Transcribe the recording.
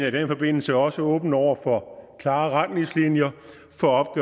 i den forbindelse også åben over for klare retningslinjer for